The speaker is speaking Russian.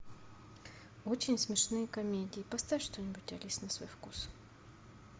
очень смешные комедии поставь что нибудь алис на свой вкус